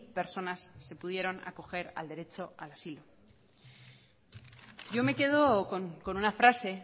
personas se pudieron acoger al derecho al asilo yo me quedo con una frase